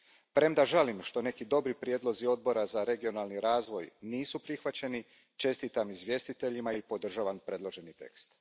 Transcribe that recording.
Premda žalim što neki dobri prijedlozi Odbora za regionalni razvoj nisu prihvaćeni, čestitam izvjestiteljima i podržavam predloženi tekst.